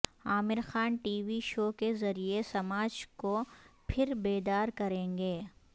عامر Khan T V show کے ذریعے سماج کو پھر بیدار کریں گے